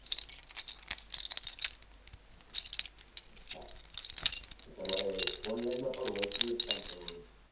અચ્છા તમારે online માં પણ wholesale નું જ કામ કરવાનું છે.